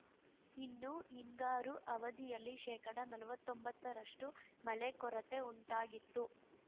ಇನ್ನು ಹಿಂಗಾರು ಅವಧಿಯಲ್ಲಿ ಶೇಕಡನಲ್ವತ್ತೊಂಬತ್ತರಷ್ಟುಮಳೆ ಕೊರತೆ ಉಂಟಾಗಿತ್ತು